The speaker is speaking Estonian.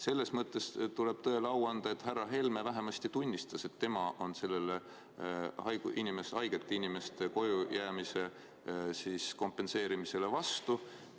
Selles mõttes tuleb tõele au anda, et härra Helme vähemasti tunnistas, et tema on haigete inimeste kojujäämise kompenseerimise vastu.